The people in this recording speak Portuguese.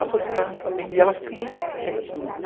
A sociedade não está vendo e elas estão ali, quietinhas.